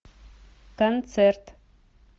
концерт